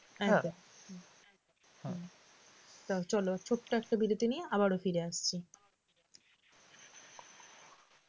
চলো ছোট্ট একটা বিরতি নিয়ে আবারও ফিরে আসছি